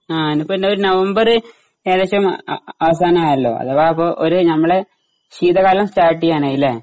ആ എനിയിപ്പോ എന്നാ ഒരു നവംബര് ഏകദേശം അവസാനമായല്ലോ അഥവാ ഇപ്പോ ഒരു ഞമ്മള് ശീതകാലം സ്റ്റാർട്ട് ചെയ്യാനായി അല്ലേ?